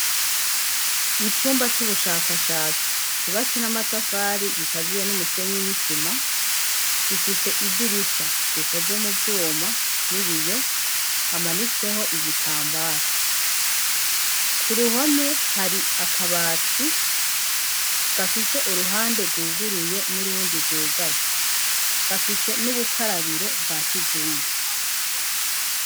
Icumba c'ubushakashatsi cubatse n'amatafari gikaziye n'umusenyi inisima gifise idirisha rikoze mu vyuma n'ibiyo hamanitseho igitambara ku ruhome hari akabati gafise uruhande rwuguruye n'urundi gugaye gafise n'ubukarabiro bwa kizunga.